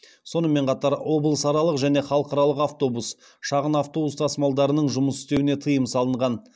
сонымен қатар облысаралық және халықаралық автобус шағын автобус тасымалдарының жұмыс істеуіне тыйым салынған